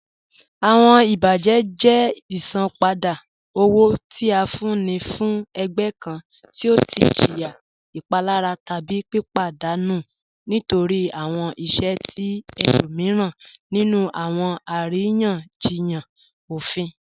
Awọn ibajẹ jẹ isanpada owo ti a fún ní fún ẹ̀gbẹ̀ kàn ti ọ tì jìyà ìpalàrà tábí pípadanù nítorí awọn ìṣẹ̀ ti ẹ̀lòmiran nínú awọn àriyanjíyàn òfín